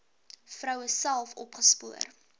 vroue self opgespoor